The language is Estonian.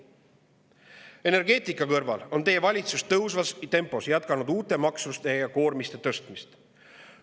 Energeetika kõrval on teie valitsus tõusvas tempos jätkanud uute maksude ja koormiste tõstmist.